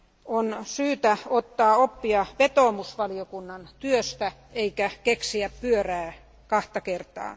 on syytä ottaa oppia vetoomusvaliokunnan työstä, eikä keksiä pyörää kahta kertaa.